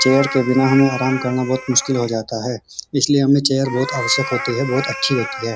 Chair बिना हमें आराम करना बहोत मुश्किल हो जाता है इसलिए हमें चेयर होत आवश्यक होती है बहोत अच्छी होती है।